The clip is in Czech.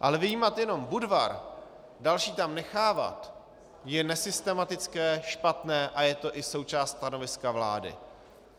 Ale vyjímat jenom Budvar, další tam nechávat, je nesystematické, špatné a je to i součást stanoviska vlády.